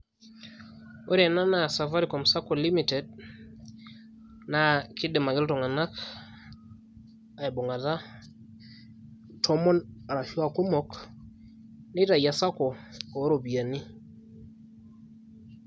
ore ena naa Safaricom sacco limited, naa kidim ake iltung'anak abung'ata tomon ashu aa irkumok nitau esacco oo ropiyiani.